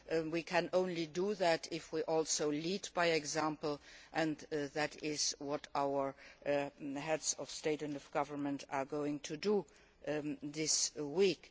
We can only do that if we also lead by example and that is what our Heads of State and Government are going to do this week.